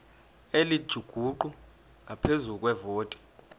elingujuqu ngaphezu kwevoti